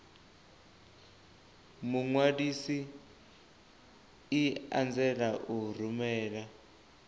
muṅwalisi i anzela u rumela